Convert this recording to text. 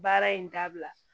Baara in dabila